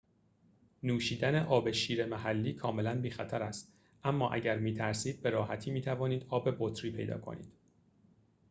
نوشیدن آب شیر محلی کاملاً بی خطر است اما اگر می ترسید به راحتی می‌توانید آب بطری پیدا کنید